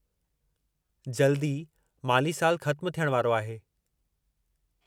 जल्द ई माली सालु ख़त्मु थियण वारो आहे।